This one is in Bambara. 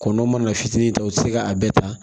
Kɔnɔ mana fitini ta o ti se ka a bɛɛ ta